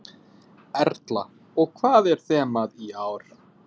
Erla: Og hvað er þemað í ár?